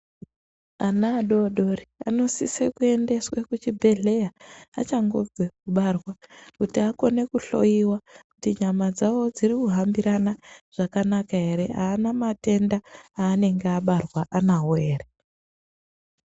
Ana adodori anosise kuendeswe kuchibhedhera achangobve kubarwa kuti akone kuhloiwa kuti nyama dzawo dzirikuhambirana zvakanaka ere aana matenda aanenge abarwa nawo ere.